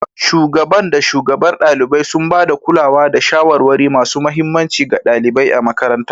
Shugaban da shugabar ɗalibai, sun ba da kulawa da shawarwari masu mahimmanci ga ɗalibai a makarantar.